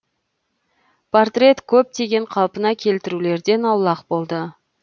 портрет көптеген қалпына келтірулерден аулақ болды